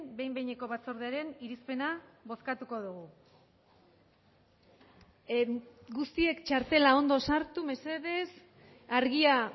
behin behineko batzordearen irizpena bozkatuko dugu guztiek txartela ondo sartu mesedez argia